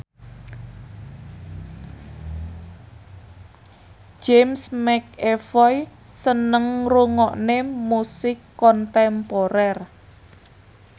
James McAvoy seneng ngrungokne musik kontemporer